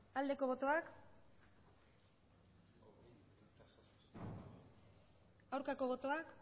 aldeko botoak aurkako botoak